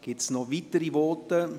Gibt es weitere Voten?